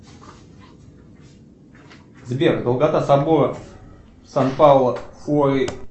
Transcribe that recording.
сбер долгота собора сан пауло